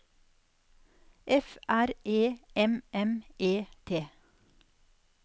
F R E M M E T